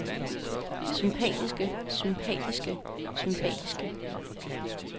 sympatiske sympatiske sympatiske